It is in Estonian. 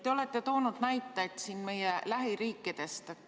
Te olete toonud näiteid meie lähiriikidest.